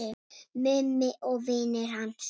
Mummi og vinir hans.